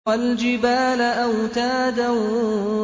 وَالْجِبَالَ أَوْتَادًا